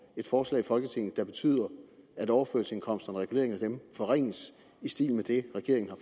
et forslag i folketinget der betyder at overførselsindkomsterne og reguleringen af dem forringes i stil med det regeringen har